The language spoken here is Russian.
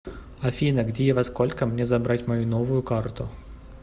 афина где и во сколько мне забрать мою новую карту